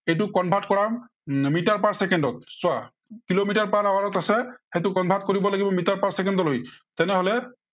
এইটো convert কৰা। Metre per চেকেণ্ডত। চোৱা, কিলোমিটাৰ per hour ত আছে সেইটো convert কৰিব লাগিব মিটাৰ per চেকেণ্ডলৈ। তেনেহলে,